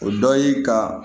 O dɔ ye ka